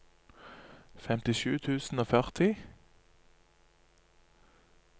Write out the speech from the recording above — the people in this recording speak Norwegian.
femtisju tusen og førti